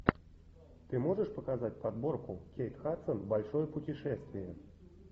ты можешь показать подборку кейт хадсон большое путешествие